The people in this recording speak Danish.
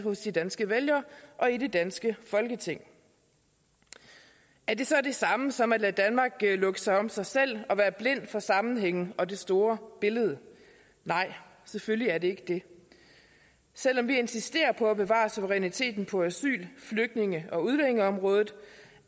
hos de danske vælgere og i det danske folketing er det så det samme som at lade danmark lukke sig om sig selv og være blind for sammenhængen og det store billede nej selvfølgelig er det ikke det selv om vi insisterer på at bevare suveræniteten på asyl flygtninge og udlændingeområdet